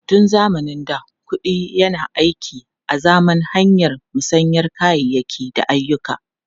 Tun zamanin da, kuɗi yana aiki azaman hanyar musayar kayayyaki da ayyuka.